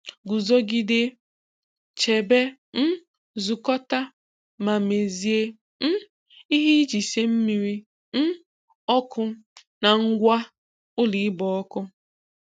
Guzogide, chebe, um zukọta, ma mezie um ihe iji sie mmiri um oku na ngwa ụlọ ịgba ọkụ.